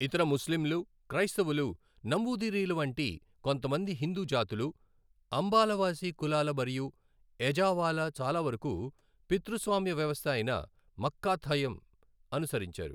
ఇతర ముస్లింలు, క్రైస్తవులు, నంబూదిరీల వంటి కొంతమంది హిందూ జాతులు, అంబాలవాసి కులాలు మరియు ఎజావాలు చాలావరకు, పితృస్వామ్య వ్యవస్థ అయిన మక్కాథయం అనుసరించారు.